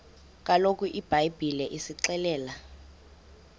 kaloku ibhayibhile isixelela